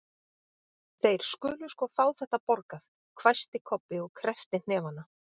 Þeir skulu sko fá þetta borgað, hvæsti Kobbi og kreppti hnefana.